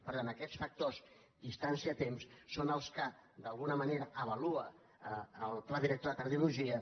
per tant aquests factors distància·temps són els que d’alguna manera avalua el pla director de cardiologia